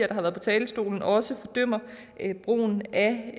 der har været på talerstolen også fordømmer brugen af